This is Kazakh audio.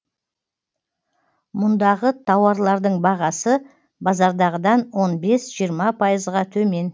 мұндағы тауарлардың бағасы базардағыдан он бес жиырма пайызға төмен